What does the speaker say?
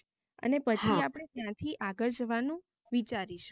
અને પછી હા આપને ત્યાથી આગળ જવાનુ વિચારીશુ